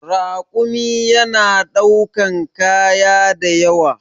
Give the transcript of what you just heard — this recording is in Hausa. Rakumi yana ɗaukan kaya da yawa.